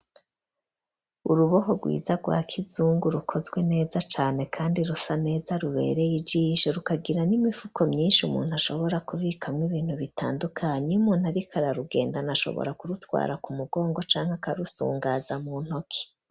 Uruboho rwiza rwa kizungu rukozwe neza cane kandi rusa neza rubereye ijisho rukagiran'imifuko myinshi umuntu ashobora kubikamwo ibintu bitandukanye, Iyo umuntu ari kurugenda ashobora kurutwara mu mugongo canke akarusungaza mu ntoke